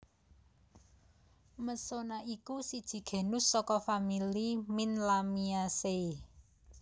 Mesona iku siji genus saka famili mint Lamiaceae